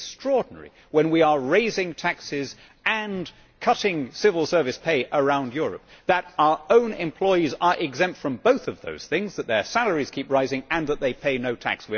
It is extraordinary when we are raising taxes and cutting civil service pay around Europe that our own employees are exempt from both of those things, that their salaries keep rising and that they pay no tax.